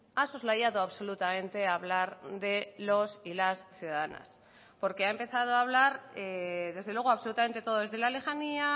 ha soslayado absolutamente hablar de los y las ciudadanas porque ha empezado a hablar desde luego absolutamente todo desde la lejanía